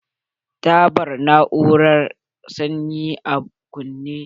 Ta bar na'urar sanyi a kunne.